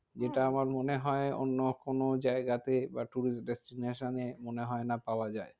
যেটা আমার মনে হয় অন্য কোনো জায়গাতে বা tourist destination এ মনে হয় না পাওয়া যায়।